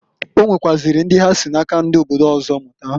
Onwekwaziri ndi ha si na-aka ndi obodo ọzọ mụta.